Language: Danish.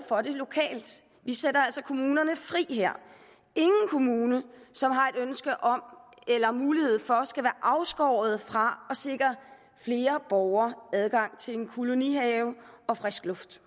for det lokalt vi sætter altså kommunerne fri her ingen kommune som har et ønske om det eller mulighed for det skal være afskåret fra at sikre flere borgere adgang til en kolonihave og frisk luft